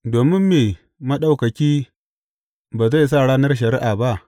Domin me Maɗaukaki ba zai sa ranar shari’a ba?